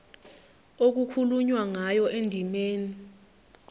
okukhulunywe ngayo endimeni